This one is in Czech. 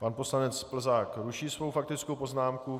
Pan poslanec Plzák ruší svou faktickou poznámku.